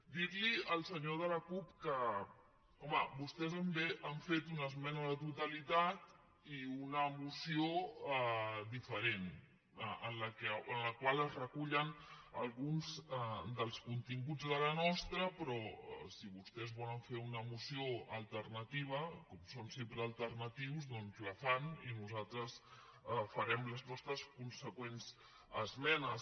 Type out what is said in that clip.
dir li al senyor de la cup que home vostès han fet una esmena a la totalitat i una moció diferent en la qual es recullen alguns dels continguts de la nostra però si vostès volen fer una moció alternativa com són sempre alternatius doncs la fan i nosaltres farem les nostres conseqüents esmenes